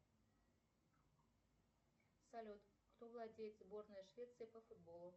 салют кто владеет сборной швеции по футболу